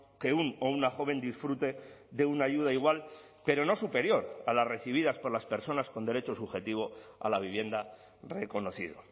que un o una joven disfrute de una ayuda igual pero no superior a las recibidas por las personas con derecho subjetivo a la vivienda reconocido